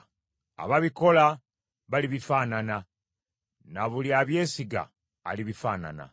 Ababikola balibifaanana; na buli abyesiga alibifaanana.